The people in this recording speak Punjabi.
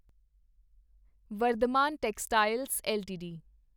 Vardhman textiles LTD